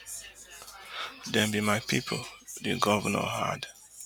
dem be my pipo di govnor add